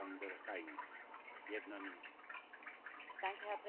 Herr Präsident, werte Kommissarin, werte Kolleginnen und Kollegen!